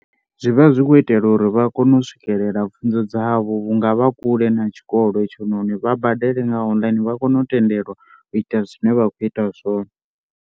Zwi vha zwi khou itelwa uri vha kone u swikelela pfhunzo dzavho vhunga vha kule na tshikolo itshononi vha badele nga online vha kone u tendelwa u ita zwine vha khou ita zwone.